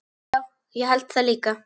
Já, ég held það líka.